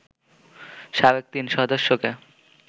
সাবেক তিন সদস্যকে